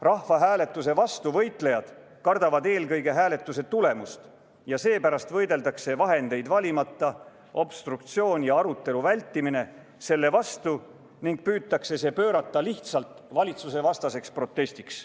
Rahvahääletuse vastu võitlejad kardavad eelkõige hääletuse tulemust ja seepärast võideldakse vahendeid valimata selle vastu ning püütakse see pöörata lihtsalt valitsusevastaseks protestiks.